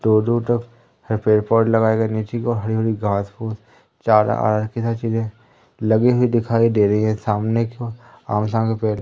दो-दो तरफ है पेड़-पौधे लगाये गये नीचे की ओर हरी-हरी घास-फूस चारा कई चीजें है। लगे हुए दिखाई दे रहे है। सामने की ओर की पेड़ --